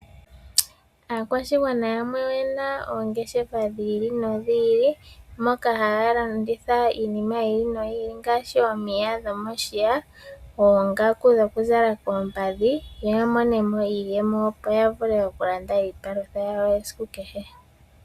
Aakwashigwana yamwe oyena oongeshefa dhi ili nodhi ili. Moka haya landitha iinima yi ili noyi ili ngaashi omapaya gomoshiya, oongaku dhokuzala koompadhi yo ya mone mo iiyemo opo yo yavule okulanda iipalutha yawo yesiku kehe.